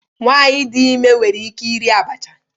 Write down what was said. Nwanyị dị ime nwere ike iri abacha?